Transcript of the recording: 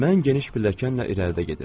Mən geniş pilləkənlə irəlidə gedirdim.